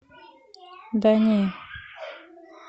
да не